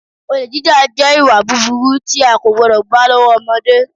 Olè jíjà, jẹ́ ìwà búburú tí a kò gbọ́dọ̀ bá lọ́wọ́ ọmọdé.